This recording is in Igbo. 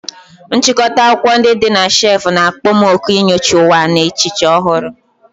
Nchịkọta akwụkwọ ndị dị na shelf na-akpọ m òkù inyocha ụwa na echiche ọhụrụ.